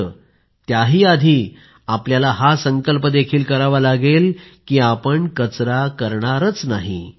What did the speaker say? मात्र त्याही आधी आपल्याला हा संकल्प देखील करावा लागेल की आपण कचरा करणारच नाही